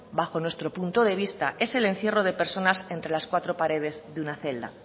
bajo nuestro punto de vista es el encierro de personas entre las cuatro paredes de una celda